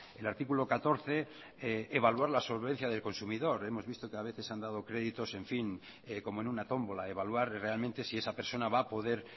el artículo catorce evaluar la solvencia del consumidor hemos visto que a veces se han dado créditos como en una tómbola evaluar realmente si esa persona va a poder